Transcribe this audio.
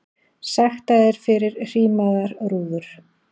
Sektaðir fyrir hrímaðar rúður